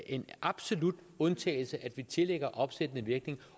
en absolut undtagelse at tillægge opsættende virkning